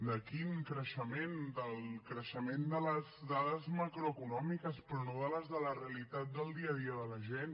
de quin creixement del creixement de les dades macroeconòmiques però no les de la realitat del dia a dia de la gent